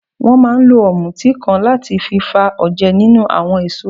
Wọ́n máa ń lo ọ̀mùtí kan láti fi fa oje nínú àwọn èso.